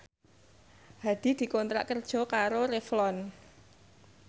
Hadi dikontrak kerja karo Revlon